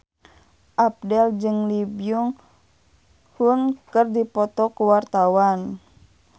Abdel jeung Lee Byung Hun keur dipoto ku wartawan